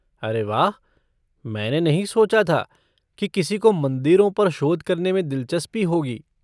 अरे वाह, मैंने नहीं सोचा था कि किसी को मंदिरों पर शोध करने में दिलचस्पी होगी।